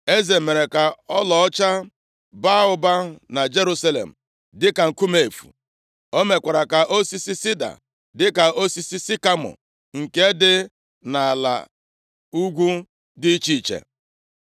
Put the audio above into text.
Eze mere ka ọlaọcha baa ụba na Jerusalem, dịka nkume efu. O mekwara ka osisi sida dịka osisi sikamọ nke dị nʼala ala ugwu dị iche iche.